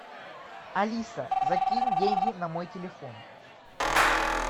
алиса закинь деньги на мой телефон